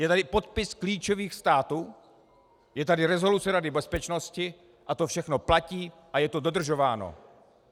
Je tady podpis klíčových států, je tady rezoluce Rady bezpečnosti a to všechno platí a je to dodržováno.